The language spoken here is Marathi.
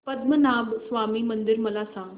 पद्मनाभ स्वामी मंदिर मला सांग